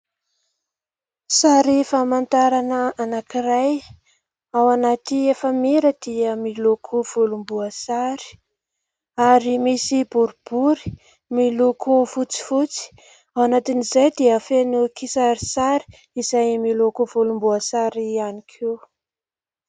Sary famantarana anabkiray ao anaty efa-mira dia miloko volomboasary, ary misy boribory miloko fotsifotsy ; ao anatin'izay dia feno kisarisary miloko volomboasary ihany koa.